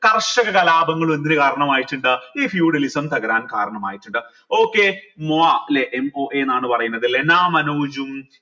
കർഷക കലാപങ്ങൾ എന്തിന് കാരണമായിട്ടിണ്ട് ഈ feudalism തകരാൻ കാരണമായിട്ടുണ്ട് okay moa m o a എന്നാണ് പറയുന്നത് ല്ലെ ലെന മനോജ്ഉം